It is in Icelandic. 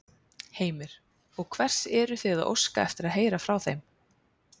Heimir: Og hvers eruð þið að óska eftir að heyra frá þeim?